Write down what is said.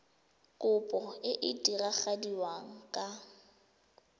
kopo e e diragadiwa ka